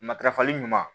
Matarafali ɲuman